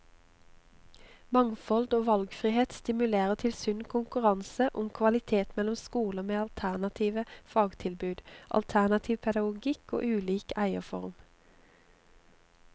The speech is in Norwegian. Mangfold og valgfrihet stimulerer til sunn konkurranse om kvalitet mellom skoler med alternative fagtilbud, alternativ pedagogikk og ulik eierform.